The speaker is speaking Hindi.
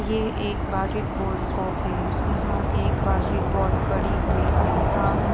ये एक बाकेटबाल कोर्ट है। यहाँ एक बाकेटबाल पड़ी हुई है। सामन् --